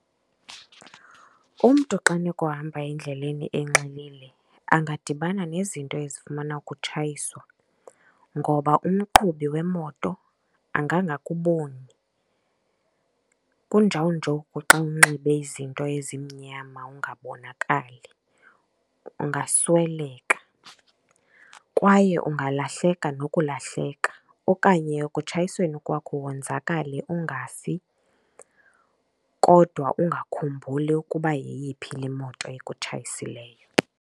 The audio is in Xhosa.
Umntu xa enokuhamba endleleni enxilile angadibana nezinto ezifumana ukutshayiswa, ngoba umqhubi wemoto angangakuboni, kunjawunjoku xa unxibe izinto ezimnyama ungabonakali. Ungasweleka kwaye ungalahleka nokulahleka. Okanye ekutshayisweni kwakho wonzakale ungafi kodwa ungakhumbuli ukuba yeyiphi le moto ekutshayisileyo.